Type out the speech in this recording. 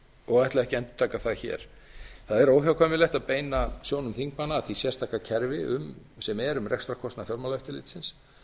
ekki að endurtaka það hér það er óhjákvæmilegt að beina sjónum þingmanna að því sérstaka kerfi sem er um rekstrarkostnað fjármálaeftirlitsins